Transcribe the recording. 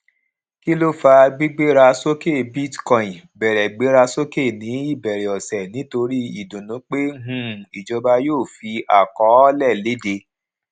kí ló fà gbígbéra sókè bitcoin bẹrẹ gbéra sókè ní ìbẹrẹ ọsẹ nítorí ìdùnnú pé um ìjọba yíò fi àkọọlẹ léde